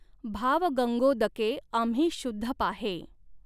भाव गंगॊदकॆं आम्ही शुद्ध पाहॆं.